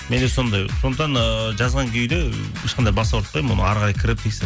менде сондай сондықтан ыыы жазған күйде ешқандай бас ауыртпаймын оны әрі қарай кіріп